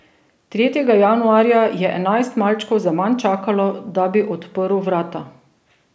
Tretjega januarja je enajst malčkov zaman čakalo, da bi odprl vrata.